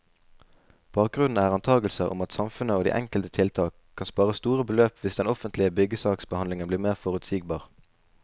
Bakgrunnen er antagelser om at samfunnet, og de enkelte tiltak, kan spare store beløp hvis den offentlige byggesaksbehandling blir mer forutsigbar.